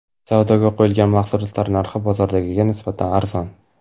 Savdoga qo‘yilgan mahsulotlar narxi bozordagiga nisbatan arzon.